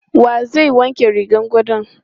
Wa zai wanke rigar gadon?